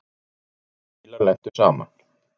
Tveir bílar lentu saman.